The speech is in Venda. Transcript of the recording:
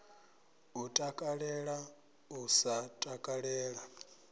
u takalela u sa takalela